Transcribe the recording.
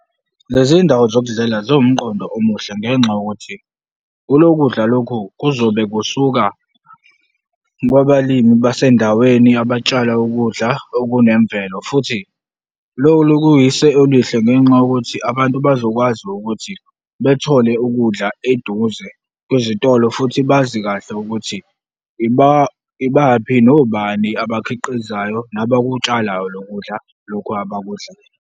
Lezindawo zokudlela ziwumqondo omuhle ngenxa yokuthi kulokudla lokhu kuzobe kusuka kwabalimi basendaweni abatshala ukudla okunemvelo futhi loku kuyisu elihle ngenxa yokuthi abantu bazokwazi ukuthi bethole ukudla eduze kwizitolo futhi bazi kahle ukuthi ibaphi nobani abakhiqizayo nabakutshalayo lokudla lokhu abakudlayo